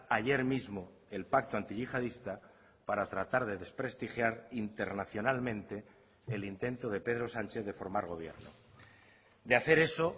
ayer mismo el pacto antiyihadista para tratar de desprestigiar internacionalmente el intento de pedro sánchez de formar gobierno de hacer eso